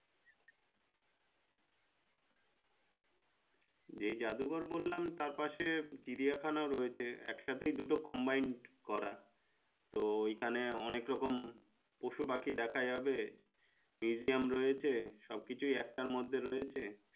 যে জাদুঘর বললাম তার পাশে চিড়িয়াখানা ও রয়েছে এক সাথে দুটা combined করা তো এখানে অনেক রকম পশু পাখি দেখা যাবে museum রয়েছে সব কিছুই একটার মধ্যে রয়েছে